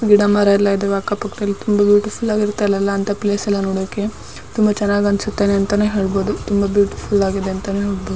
ಗಿಡ ಮರ ಎಲ್ಲ ಇದಾವ ಅಕ್ಕ ಪಕ್ಕದಲಿ ತುಂಬ ಬ್ಯುಟಿಫುಲ್ ಆಗಿರುತ್ತೆ ಅಲ್ಲೆಲ್ಲ ಅಂತ ಪ್ಲೇಸ್ ಎಲ್ಲ ನೋಡಕ್ಕೆ ತುಂಬ ಚೆನ್ನಾಗಿ ಅನ್ಸುತ್ತೆ ಅಂತಾನೆ ಹೇಳ್ಬೋದು ತುಂಬ ಬ್ಯುಟಿಫುಲ್ ಆಗಿರುತ್ತೆ ಅಂತಾನೆ --